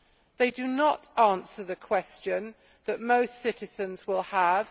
They do not answer the question that most citizens will have.